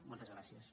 moltes gràcies